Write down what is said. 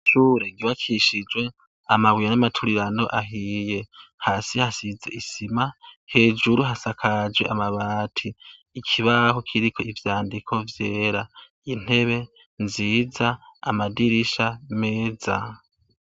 Ishure ryubakishijwe amabuye n'amaturirano ahiye. Hasi hasize isima, hejuru hasakajwe amabati, ikibaho kiriko ivyandiko vyera, intebe nziza, amadirisha meza.